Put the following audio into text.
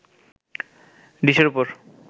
ডিশের ওপর